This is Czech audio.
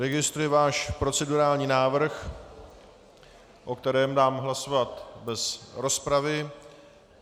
Registruji váš procedurální návrh, o kterém dám hlasovat bez rozpravy.